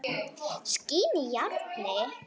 Skín í járnið.